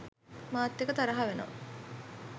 මාත් එක්ක තරහා වෙනවා.